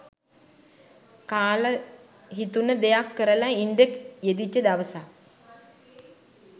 කාල හිතුණ දෙයක් කරල ඉන්ඩ යෙදිච්ච දවසක්